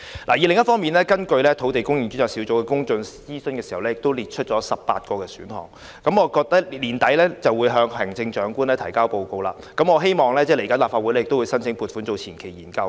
另一方面，專責小組進行公眾諮詢時，曾經列出18個選項，並將於年底前向行政長官提交報告，政府其後會向立法會申請撥款進行相關前期研究。